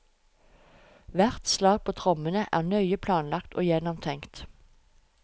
Hvert slag på trommene er nøye planlagt og gjennomtenkt.